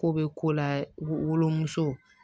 Ko bɛ ko la wolomuso